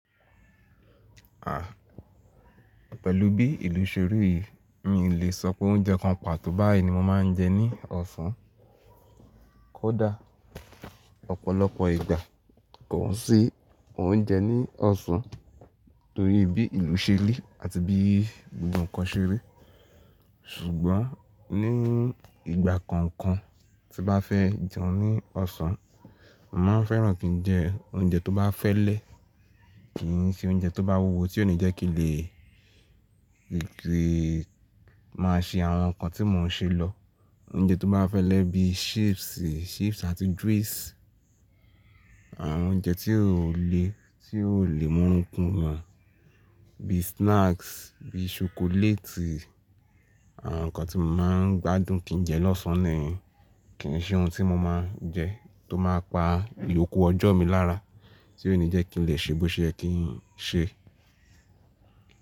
Pẹ̀lú bí ìlú ṣe rí yii, mi lè sọ pé oúnjẹ kan pàtó báyìí ni mo máa ń jẹ ní ọ̀sán. Kódà ọ̀pọ̀lọpọ̀ ìgbà, kò sí oúnjẹ ní ọ̀sán, torí bí ìlú ṣe rí àti bí gbogbo nǹkan ṣe rí. Ṣùgbọ́n ní ìgbà kankan tí bá fẹ́ jẹun ní ọ̀sán, mo màá fẹ́ràn kí n jẹ oúnjẹ tó bá fẹ́lẹ́, kì í ṣe oúnjẹ tó bá wúwo tí ó ní jẹ́ kí lè máa ṣe àwọn nǹkan tí mò ń ṣe lọ. Oúnjẹ tó bá fẹ́lẹ́ bí chips àti drinks, àwọn oúnjẹ tí ó le, tí ó le mú orun kun eyen bí snacks, bí ṣokoléètì. Àwọn nǹkan tí mò ń gbádùn kí n jẹ lọ́sàn án nì yen, kì í ṣe ohun tí mo máa ń jẹ, tó máa pa ìyòkù ọjọ́ mi lára, tí ó ní jẹ́ kí n lè ṣe bó ṣe ẹ́ kí n ṣe.